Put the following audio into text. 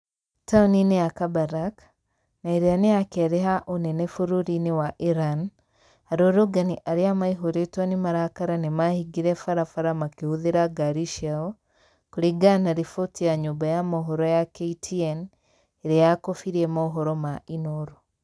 Taũni-inĩ ya kabarak , na ĩrĩa nĩya kerĩ ha ũnene bũrũri-inĩ wa Iran, arũrũngani arĩa maĩhĩrĩtwo nĩ marakara nĩmahingire barabara makĩhũthĩra ngari ciao, kũringana na riboti ya nyũmba ya mohoro ya KTN ĩrĩa yakobirie mohoro ma Inoro